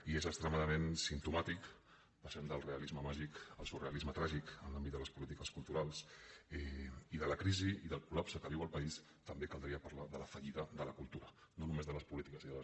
i és extremadament simptomàtic passem del realisme màgic al surrealisme tràgic en l’àmbit de les polítiques culturals i de la crisi i del col·país també caldria parlar de la fallida de la cultura no només de les polítiques i de les